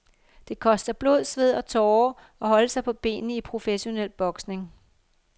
Det koster blod, sved og tårer at holde sig på benene i professionel boksning.